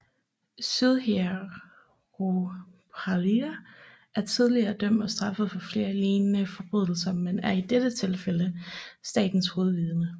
Sudhir Ruparelia er tidligere dømt og straffet for flere lignende forbrydelser men er i dette tilfælde statens hovedvidne